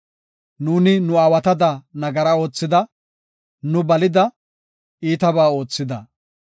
Nuuni nu aawatada nagara oothida; nu balida; iitabaa oothida.